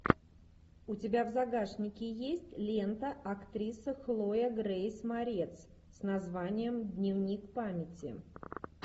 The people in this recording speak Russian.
у тебя в загашнике есть лента актриса хлоя грейс морец с названием дневник памяти